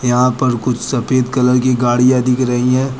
यहां पर कुछ सफेद कलर की गाड़िया दिख रही है।